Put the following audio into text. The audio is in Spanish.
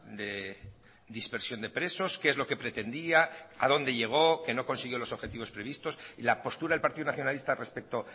de dispersión de presos qué es lo que pretendía a dónde llegó que no consiguió los objetivos previstos y la postura del partido nacionalista respecto